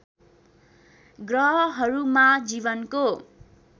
ग्रहहरूमा जीवनको